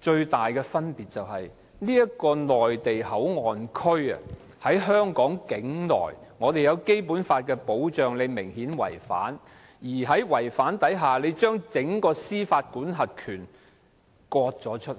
最大的分別是內地口岸區設在香港境內，我們在香港受到《基本法》的保障，但這個做法明顯違反《基本法》，將整個司法管轄權割出去。